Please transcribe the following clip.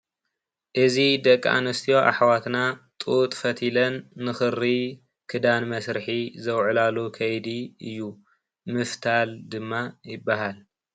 እዚ ደቂ አንስትዮ አሕዋትና ጡጥ ፈቲለን ንክሪ ክዳን መስርሒ ዘውዕላሉ ከይዲ እዩ። ምፍታል ድማ ይበሃል።